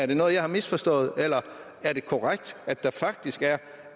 det noget jeg har misforstået eller er det korrekt at der faktisk er